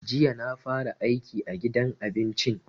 Jiya na fara aiki a gidan abincin.